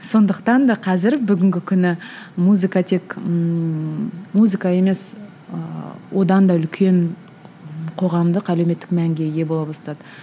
сондықтан да қазір бүгінгі күні музыка тек ыыы музыка емес ыыы одан да үлкен қоғамдық әлеуметтік мәнге ие бола бастады